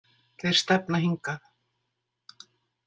Þeir stefna hingað